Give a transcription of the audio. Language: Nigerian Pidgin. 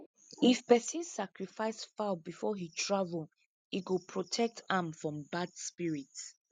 if person sacrifice fowl before he travel e go protect am from bad spirit